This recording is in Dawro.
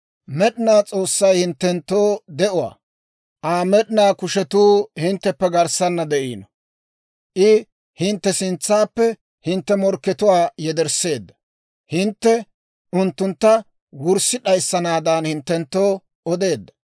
Med'inaa S'oossay hinttenttoo de'uwaa; Aa med'inaa kushetuu hintteppe garssana de'iino. I hintte sintsaappe hintte morkkatuwaa yedersseedda; hintte unttuntta wurssi d'ayissanaadan hinttenttoo odeedda.